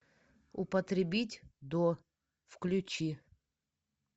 употребить до включи